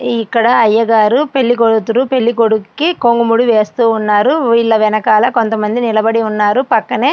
ఇక్కడ అయ్యగారు పెళ్లికూతురు పెళ్లికొడుక్కీ కొంగుముడి వేస్తూ ఉన్నారు వీళ్ళ వెనకాల కొంతమంది నిలబడి ఉన్నారు పక్కనే --